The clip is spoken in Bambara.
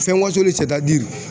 Fɛn wasolen